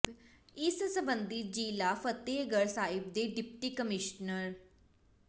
ਇਸ ਸਬੰਧੀ ਜ਼ਿਲ੍ਹਾ ਫ਼ਤਿਹਗੜ੍ਹ ਸਾਹਿਬ ਦੇ ਡਿਪਟੀ ਕਮਿਸ਼ਨਰ ਡਾ